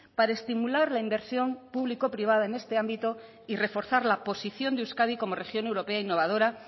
para estimular la inversión público privada en este ámbito y reforzar la posición de euskadi como región europea innovadora